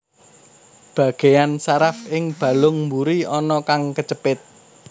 Bagéyan saraf ing balung mburi ana kang kecepit